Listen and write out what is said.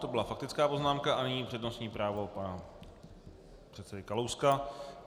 To byla faktická poznámka a nyní přednostní právo pana předsedy Kalouska.